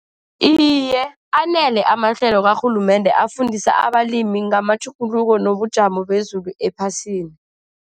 Iye, anele amahlelo karhulumende afundisa abalimi ngamatjhuguluko wobujamo bezulu ephasini.